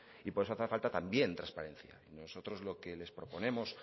y por eso hace falta también transparencia nosotros lo que nos proponemos